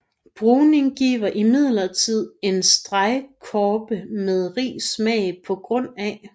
Bruning giver imidlertid en stegeskorpe med rig smag pga